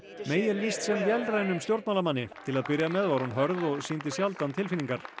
lýst sem vélrænum stjórnmálamanni til að byrja með var hún hörð og sýndi sjaldan tilfinningar